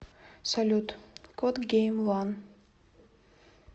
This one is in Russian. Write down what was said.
салют кот гейм ван